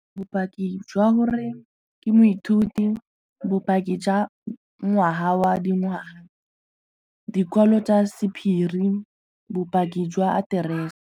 Bopaki jwa gore ke moithuti, bopaki jwa ngwaga wa dingwaga, dikwalo tsa sephiri, bopaki jwa aterese.